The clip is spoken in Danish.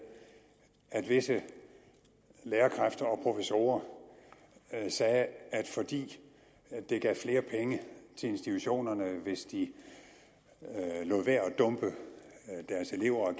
at visse lærerkræfter og professorer sagde at fordi det gav flere penge til institutionerne hvis de lod være med at dumpe deres elever